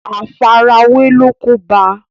àfarawé ló kóbá a